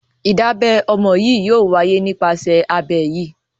Ìdábẹ ọmọ yìí yóò wáyé nípasẹ̀ abẹ́ yìí.